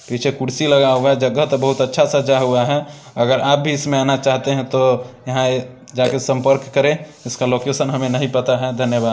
पीछे कुर्सी लगा हुआ है जगह तो बहुत अच्छा सजा हुआ है अगर आप भी इसमें आना चाहते हैं तो यहाँ जाके संपर्क करें इसका लोकेशन हमे नहीं पता है धन्यवाद।